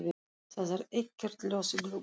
Það er ekkert ljós í gluggum.